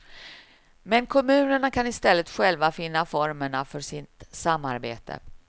Men kommunerna kan i stället själva finna formerna för sitt samarbete.